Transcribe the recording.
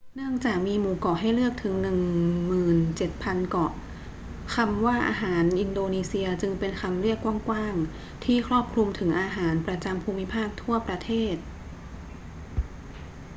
เนื่องจากมีหมู่เกาะให้เลือกถึง 17,000 เกาะ คำว่าอาหารอินโดนีเซียจึงเป็นคำเรียกกว้าง ๆ ที่ครอบคลุมถึงอาหารประจำภูมิภาคทั่วประเทศ